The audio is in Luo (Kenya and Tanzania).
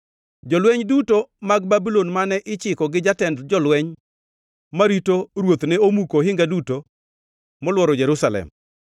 Jolweny duto mag Babulon mane ichiko gi jatend jolweny marito ruoth ne omuko ohinga duto moluoro Jerusalem.